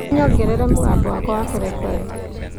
ũnyongerere mũgambo wakwa wa kurekondi